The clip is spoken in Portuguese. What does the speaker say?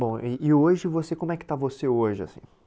Bom, e e hoje você, como é que está você hoje, assim?